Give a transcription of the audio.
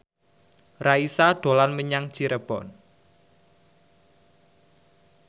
Raisa dolan menyang Cirebon